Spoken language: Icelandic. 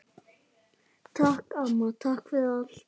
Takk, amma, takk fyrir allt.